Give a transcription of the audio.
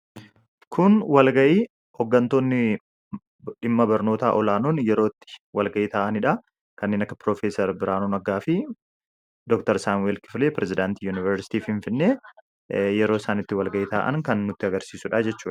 Kun walgahii, hooggantoonni dhimma barnootaa olaanoon itti walgahii ta'aniidha. Kanneen akka Profeesar Biraanuu Naggaa fi Dr. Saamu'eel Kifilee pirezidaantii Yuunivarsiitii Finfinnee yeroo isaan itti walgahii ta'an kan nutti agarsiisuudha jechuudha.